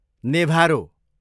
नेभारो